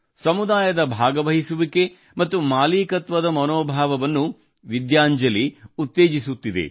ಸಮುದಾಯದ ಭಾಗವಹಿಸುವಿಕೆ ಮತ್ತು ಮಾಲೀಕತ್ವದ ಮನೋಭಾವವನ್ನು ವಿದ್ಯಾಂಜಲಿ ಉತ್ತೇಜಿಸುತ್ತಿದೆ